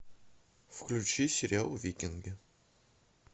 включи сериал викинги